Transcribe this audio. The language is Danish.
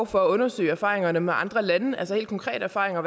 for at undersøge erfaringerne med andre lande altså helt konkrete erfaringer